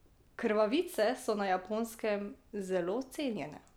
Krvavice so na Japonskem zelo cenjene.